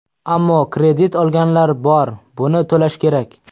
Ammo kredit olganlar bor, buni to‘lash kerak.